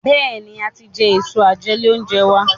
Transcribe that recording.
Béèni a tí jé Èso àjẹlé-oúnjẹ wá.